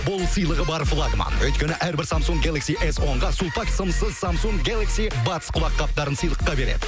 бұл сыйлығы бар флагман өйткені әрбір самсунг гелакси эс онға сулпак сымсыз самсунг гелакси батс құлаққаптарын сыйлыққа береді